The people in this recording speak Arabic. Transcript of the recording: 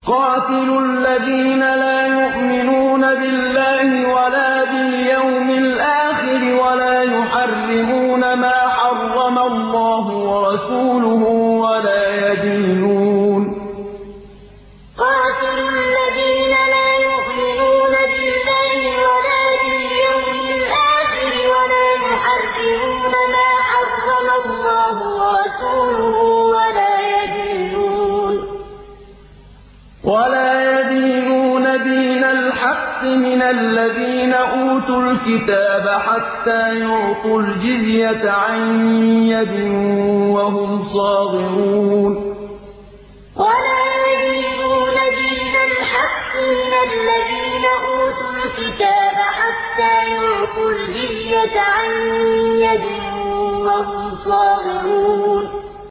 قَاتِلُوا الَّذِينَ لَا يُؤْمِنُونَ بِاللَّهِ وَلَا بِالْيَوْمِ الْآخِرِ وَلَا يُحَرِّمُونَ مَا حَرَّمَ اللَّهُ وَرَسُولُهُ وَلَا يَدِينُونَ دِينَ الْحَقِّ مِنَ الَّذِينَ أُوتُوا الْكِتَابَ حَتَّىٰ يُعْطُوا الْجِزْيَةَ عَن يَدٍ وَهُمْ صَاغِرُونَ قَاتِلُوا الَّذِينَ لَا يُؤْمِنُونَ بِاللَّهِ وَلَا بِالْيَوْمِ الْآخِرِ وَلَا يُحَرِّمُونَ مَا حَرَّمَ اللَّهُ وَرَسُولُهُ وَلَا يَدِينُونَ دِينَ الْحَقِّ مِنَ الَّذِينَ أُوتُوا الْكِتَابَ حَتَّىٰ يُعْطُوا الْجِزْيَةَ عَن يَدٍ وَهُمْ صَاغِرُونَ